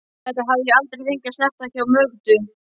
Þetta hafði ég aldrei fengið að snerta hjá Mögdu.